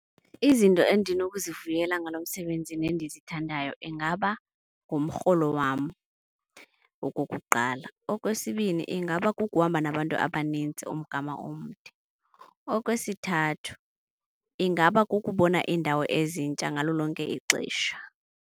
Izinto endinokuzivuyela ngalo msebenzi nendizithandayo ingaba ngumrholo wam okokuqala. Okwesibini ingaba kukuhamba nabantu abanintsi umgama omde. Okwesithathu ingaba kukubona iindawo ezintsha ngalo lonke ixesha.